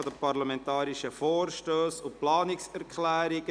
Parlamentarische Vorstösse und Planungserklärungen.